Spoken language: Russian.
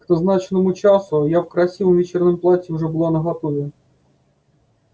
к назначенному часу я в красивом вечернем платье уже была наготове